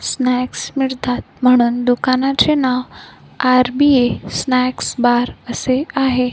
Snacks मिळतात म्हणून दुकानाचे नाव आर_बी_ए स्नॅक्स बार असे आहे.